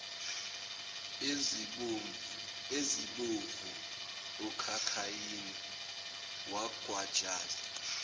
ezibovu okhakhayini wagwajaza